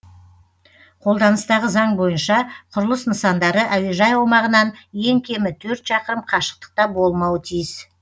қолданыстағы заң бойынша құрылыс нысандары әуежай аумағынан ең кемі төрт шақырым қашықтықта болмауы тиіс